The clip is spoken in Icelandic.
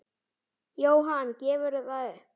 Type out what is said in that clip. Jóhann: Gefurðu það upp?